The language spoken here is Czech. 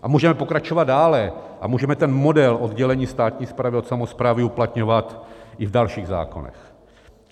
A můžeme pokračovat dále a můžeme ten model oddělení státní správy od samosprávy uplatňovat i v dalších zákonech.